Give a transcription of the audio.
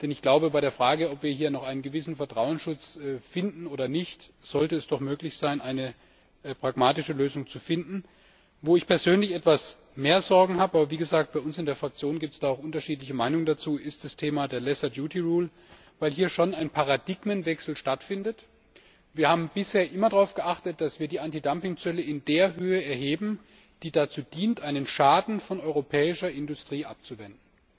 Denn bei der Frage, ob wir hier noch einen gewissen Vertrauensschutz finden oder nicht, sollte es doch möglich sein, eine pragmatische Lösung zu finden. Wo ich persönlich etwas mehr Sorgen habe aber, wie gesagt, bei uns in der Fraktion gibt es dazu auch unterschiedliche Meinungen ist das Thema der lesser duty rule weil hier schon ein Paradigmenwechsel stattfindet. Wir haben bisher immer darauf geachtet, dass wir Antidumpingzölle in einer Höhe erheben, die dazu dient, einen Schaden von der europäischen Industrie abzuwenden.